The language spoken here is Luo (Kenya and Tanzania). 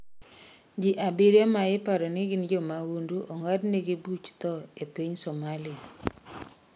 Ji abiriyo ma iparo ni gin jmahundu ong'adnegi buch thoo e piny somalia.